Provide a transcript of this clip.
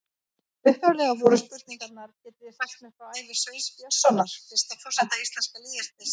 Upphaflega voru spurningarnar: Getið þið sagt mér frá ævi Sveins Björnssonar, fyrsta forseta íslenska lýðveldisins?